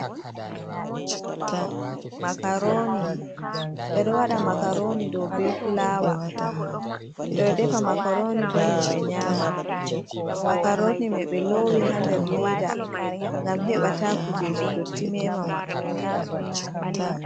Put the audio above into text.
Makaroni ɓeɗo wada makaroni ɗow be fulawa ɓeɗo defa makaroni, bo himɓe ɗow nyama makaroni ɓe lowi ha nder leda ngam heɓa ta kujeji dotti mema ɗum.